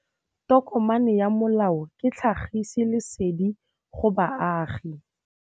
Tokomane ya molao ke tlhagisi lesedi go baagi.